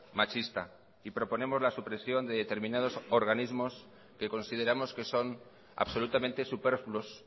machista y proponemos la supresión de determinados organismos que consideramos que son absolutamente superfluos